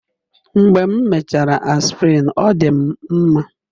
Mgbe m mechara Aspirin, ọ dị m mma.